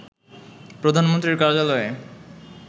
প্রধানমন্ত্রীর কার্যালয়ে